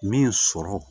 Min sɔrɔ